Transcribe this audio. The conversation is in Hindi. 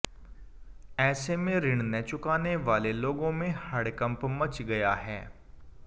ऐसे में ऋण न चुकाने वाले लोगों में हड़कंप मच गया है